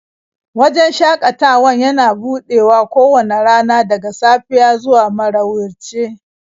Wajen shakatawan yana buɗewa kowace rana daga safiya zuwa marauice